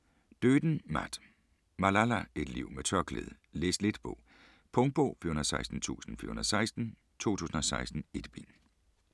Doeden, Matt: Malala: et liv med tørklæde Læs-let bog. Punktbog 416416 2016. 1 bind.